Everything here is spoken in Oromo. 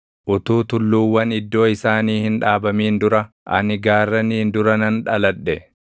utuu tulluuwwan iddoo isaanii hin dhaabamin dura, ani gaarraniin dura nan dhaladhe;